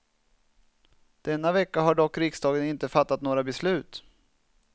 Denna vecka har dock riksdagen inte fattat några beslut.